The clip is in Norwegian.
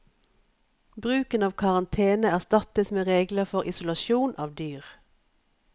Bruken av karantene erstattes med regler for isolasjon av dyr.